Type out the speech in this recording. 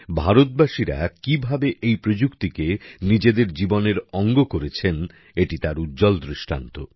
ভারতবাসীরা কিভাবে এই প্রযুক্তিকে নিজেদের জীবনের অঙ্গ করেছেন এটি তার উজ্জ্বল দৃষ্টান্ত